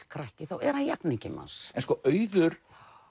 krakki þá er hann jafningi manns en sko Auður